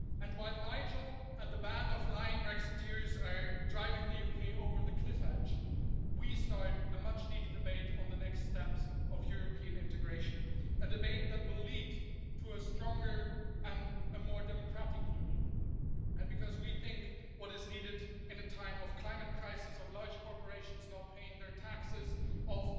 While Nigel and the band of lying Brexiteers are driving the UK over the cliff edge, we start a much needed debate on the next steps of European integration, a debate that will lead to a stronger and a more democratic Union and because we think what is needed in a time of climate crisis, of large corporations not paying their taxes, of